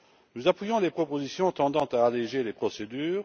Nous appuyons les propositions tendant à alléger les procédures.